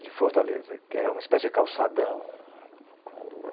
de Fortaleza, que é uma espécie de calçadão.